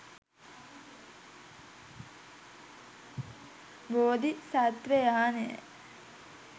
බෝධි සත්වයානය